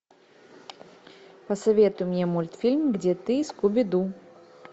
посоветуй мне мультфильм где ты скуби ду